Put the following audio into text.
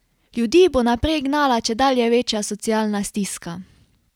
Ljudi bo naprej gnala čedalje večja socialna stiska.